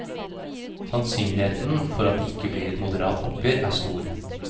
Sannsynligheten for at det ikke blir et moderat oppgjør er stor.